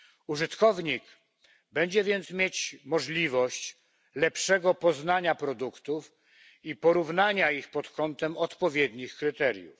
Użytkownik będzie więc mieć możliwość lepszego poznania produktów i porównania ich pod kątem odpowiednich kryteriów.